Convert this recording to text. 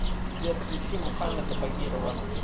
сбер включи мухаммеда багирова